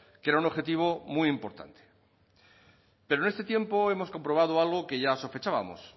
que era un objetivo muy importante pero en este tiempo hemos comprobado algo que ya sospechábamos